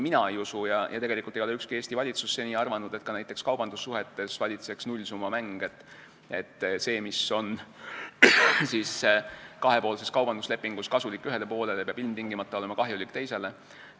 Mina ei usu ja tegelikult ei ole ükski Eesti valitsus seni arvanud, et ka näiteks kaubandussuhetes valitseks nullsummamäng, et see, mis on kahepoolses kaubanduslepingus kasulik ühele poolele, peab ilmtingimata olema kahjulik teisele.